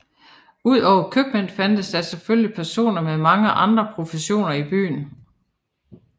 Udover købmænd fandtes der selvfølgelig personer med mange andre professioner i byen